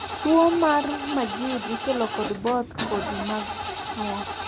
tuo mar Majeed ikelo kod both kodhi mag nyuol